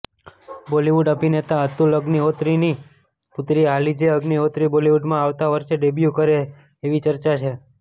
બોલિવૂડ અભિનેતા અતુલ અગ્નિહોત્રીની પુત્રી અલીજે અગ્નિહોત્રી બોલિવૂડમાં આવતા વર્ષે ડેબ્યૂ કરે એવી ચર્ચા છે